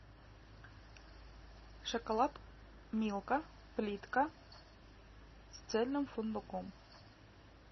шоколад милка плитка с цельным фундуком